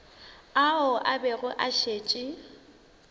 ao a bego a šetše